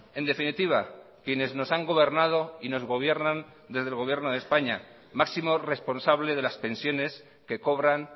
en definitiva quienes nos han gobernado y nos gobiernan desde el gobierno de españa máximo responsable de las pensiones que cobran